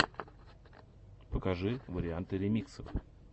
покажи варианты ремиксов